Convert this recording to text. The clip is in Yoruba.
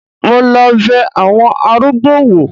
Mo lọ bẹ àwọn arúgbó wò.